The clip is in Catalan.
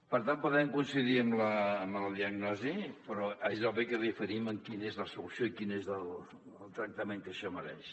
per tant podem coincidir en la diagnosi però és obvi que diferim en quina és la solució i quin és el tractament que això mereix